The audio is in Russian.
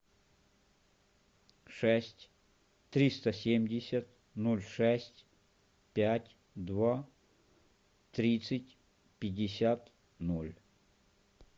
шесть триста семьдесят ноль шесть пять два тридцать пятьдесят ноль